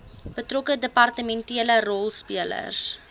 betrokke departementele rolspelers